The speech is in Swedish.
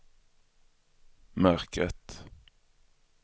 mörkret